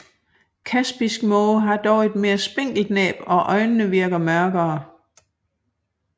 Kaspisk måge har dog et mere spinkelt næb og øjnene virker mørkere